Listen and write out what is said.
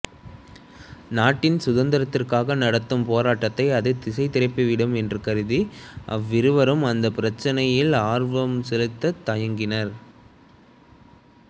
நாட்டின் சுதந்திரத்துக்காக நடத்தும் போராட்டத்தை அது திசைதிருப்பிவிடும் என்று கருதி அவ்விருவரும் அந்தப் பிரச்சினையில் ஆர்வம் செலுத்தத் தயங்கினர்